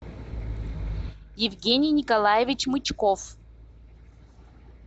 евгений николаевич мычков